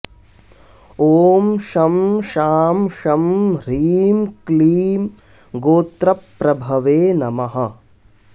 ॐ शं शां षं ह्रीं क्लीं गोत्रप्रभवे नमः